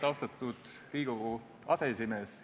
Austatud Riigikogu aseesimees!